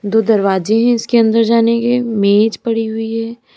दो दरवाजे है इसके अंदर जाने के मेज पड़ी हुई है।